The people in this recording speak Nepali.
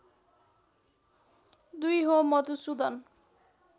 २ हो मधुसुदन